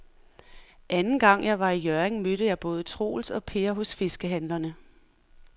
Anden gang jeg var i Hjørring, mødte jeg både Troels og Per hos fiskehandlerne.